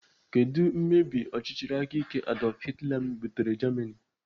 Kedụ mmebi ọchịchị aka ike Adolf Hitler butere Germany?